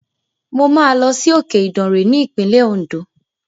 Mo máa lọ sí òkè Ìdàrè ní ìpínlẹ̀ Òǹdó.